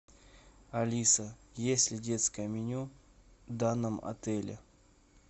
алиса есть ли детское меню в данном отеле